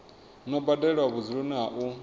no badelwa vhudzuloni ha u